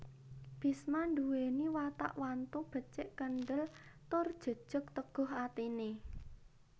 Bisma nduwèni watak wantu becik kendhel tur jejeg teguh atine